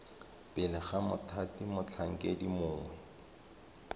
pele ga mothati motlhankedi mongwe